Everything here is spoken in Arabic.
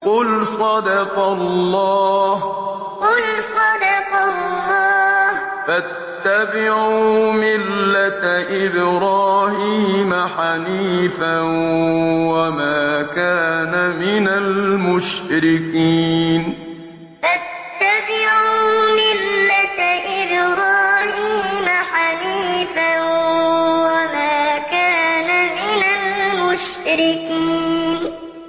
قُلْ صَدَقَ اللَّهُ ۗ فَاتَّبِعُوا مِلَّةَ إِبْرَاهِيمَ حَنِيفًا وَمَا كَانَ مِنَ الْمُشْرِكِينَ قُلْ صَدَقَ اللَّهُ ۗ فَاتَّبِعُوا مِلَّةَ إِبْرَاهِيمَ حَنِيفًا وَمَا كَانَ مِنَ الْمُشْرِكِينَ